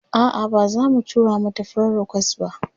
a'a bazamu tura mata friend request ba